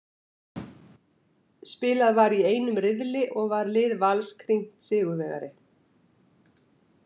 Spilað var í einum riðli og var lið Vals krýnt sigurvegari.